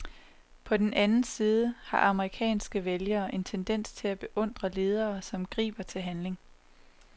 På den anden side har amerikanske vælgere en tendens til at beundre ledere, som griber til handling.